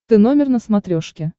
ты номер на смотрешке